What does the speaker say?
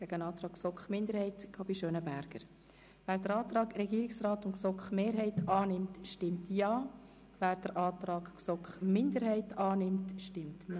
Wer den Antrag Regierungsrat/GSoK-Mehrheit annimmt, stimmt Ja, wer den Antrag GSoK-Minderheit annimmt, stimmt Nein.